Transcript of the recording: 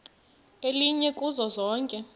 elinye kuzo zonke